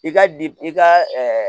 I ka di i ka